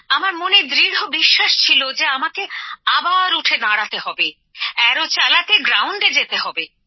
আমার মনে দৃঢ় বিশ্বাস ছিল যে আমাকে আবার উঠে দাঁড়াতে হবে তীর চালাতে মাঠে নামতে হবে